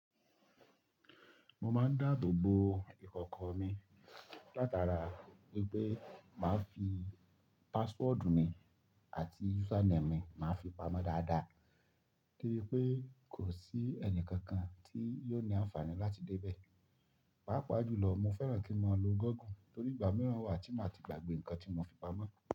Mo máa ń dáàbò bo ìkọ̀kọ̀ mi látara wípé màá fi password mi àti username mi, màá fi pamọ́ dáadáa, kí wípé kò sí ẹnì kankan tí yóò ní àǹfààní láti dé bẹ. Páápàá jùlọ, mo fẹ́ràn kí n mọ lo Google torí ìgbà mìíràn wà tí mo ti gbàgbé nǹkan tí mo fi pamọ́